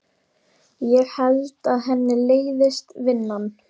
Ég held að henni leiðist vinnan.